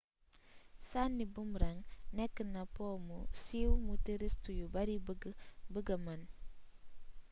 sànni boomerang nekk na po mu siiw mu touriste yu bari bëgg a mën